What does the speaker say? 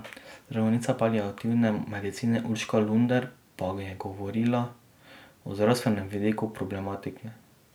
Zdravnica paliativne medicine Urška Lunder pa je govorila o zdravstvenem vidiku problematike.